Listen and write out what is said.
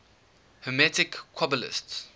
hermetic qabalists